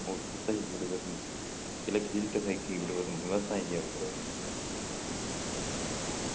குத்தகை விடுவது சிலர் பிடித்தமின்மைக்கு விவசாயிங்க உறவு